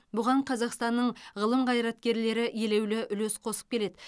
бұған қазақстанның ғылым қайраткерлері елеулі үлес қосып келеді